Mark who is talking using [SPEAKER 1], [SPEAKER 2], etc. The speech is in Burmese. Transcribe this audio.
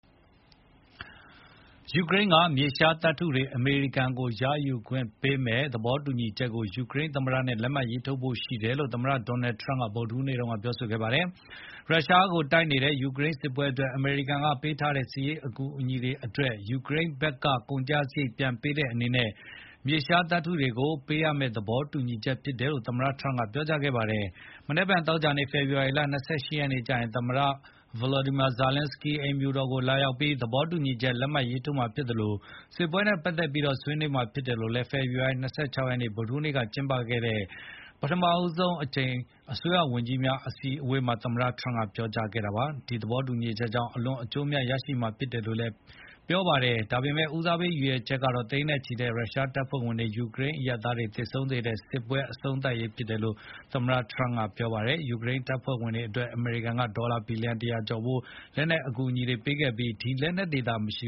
[SPEAKER 1] ယူကရိန်းက မြေရှားသတ္တုတွေ အမေရိကန်ကို ရယူခွင့်ပေးမယ့် သဘောတူညီချက်ကို ယူကရိန်းသမ္မတနဲ့ လက်မှတ်ထိုးဖို့ရှိတယ်လို့ သမ္မတ Donald Trump က ဗုဒ္ဓဟူးနေ့က ပြောကြားခဲ့ပါတယ်။ ရုရှားကိုတိုက်နေတဲ့ ယူကရိန်းစစ်ပွဲအတွက် အမေရိကန်ကပေးထားတဲ့ စစ်ရေးအကူအညီတွေအတွက် ယူကရိန်းဘက်က ကုန်ကျစရိတ်ပြန်ပေးတဲ့အနေနဲ့ မြေရှားတွေကို ပေးမယ့် သဘောတူညီချက်ဖြစ်တယ်လို့ သမ္မတ Trump ကပြောကြားခဲ့ပါတယ်။ မနက်ဖြန် သောကြာနေ့ ဖေဖေါ်ဝါရီ ၂၈ ရက်နေ့ကျရင် သမ္မတ Volodymyr Zelenskyy အိမ်ဖြူတော်ကိုလာရောက်ပြီး သဘောတူညီချက် လက်မှတ်ရေးထိုးမှာဖြစ်သလို စစ်ပွဲနဲ့ပတ်သတ်ပြီးတော့လည်း ဆွေးနွေးမှာဖြစ်တယ်လို့ ဖေဖေါ်ဝါရီ ၂၆ ရက်နေ့ ဗုဒ္ဓဟူးနေ့က ကျင်းပတဲ့ ပထမဆုံးအကြိမ်အစိုးရဝန်ကြီးများအစည်းအဝေးအတွင်း သမ္မတ Donald Trump က ပြောကြားခဲ့တာပါ။ ဒီသဘောတူညီချက်ကြောင့် အလွန် အကျိုးအမြတ် ရရှိမှာဖြစ်တယ်လို့လည်း ပြောပါတယ်။ ဒါပေမယ့် ဦးစားပေး ရည်ရွယ်ချက်ကတော့ သိန်းနဲ့ ချီတဲ့ရုရှားတပ်ဖွဲ့ဝင်တွေ၊ ယူကရိန်း အရပ်သားတွေ သေဆုံးစေတဲ့ စစ်ပွဲ အဆုံးသတ်နိုင်ရေးဖြစ်တယ်လို့ သမ္မတ Trump ကပြောပါတယ်။ ဒုတိယအချက်ကတော့ ပေးထားတာတွေ ပြန်ရဖို့လို့လည်း ပြောပါတယ်။ ယူကရိန်းတပ်ဖွဲ့ဝင်တွေအတွက် အမေရိကန်က ဒေါ်လာ ဘီလျံ ၁၀၀ ကျော်ဖိုး လက်နက်အကူအညီတွေပေးခဲ့ပြီး
[SPEAKER 2] ဒီလက်နက်တွေသာ မရှ